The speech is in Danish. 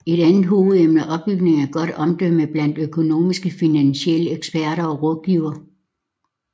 Et andet hovedemne er opbygning af et godt omdømme blandt økonomiske og finansielle eksperter og rådgivere